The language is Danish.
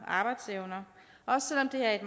arbejdsevne også selv om det er i